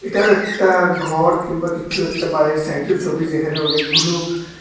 এটাও একটা ঘর কিংবা কিছু একটা বাইরের সাইডের ছবি যেখানে অনেকগুলো--